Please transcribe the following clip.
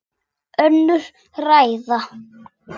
Önnur ræða.